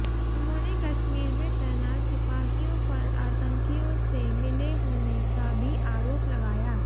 उन्होंने कश्मीर में तैनात सिपाहियों पर आतंकियों से मिले होने का भी आरोप लगाया